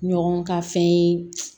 Ɲɔgɔn ka fɛn ye